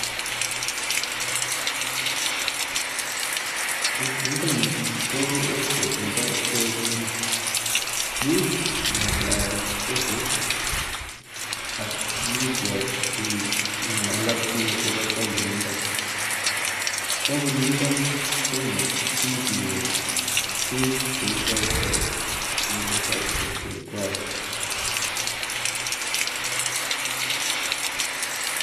Niton nui ko website nebo KSC, imuch iaplaen koses ak imuch ing'alal ak biik chebunindo tena imuch iker tukuk cheikoitoi ing'ele services chekwai.